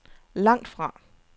langtfra